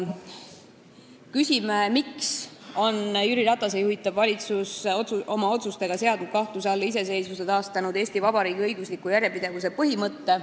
Küsime, miks on Jüri Ratase juhitav valitsus oma otsustega seadnud kahtluse alla iseseisvuse taastanud Eesti Vabariigi õigusliku järjepidevuse põhimõtte.